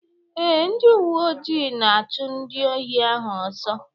Ee, ndị uwe ojii na-achụ ndị ohi ahụ ọsọ.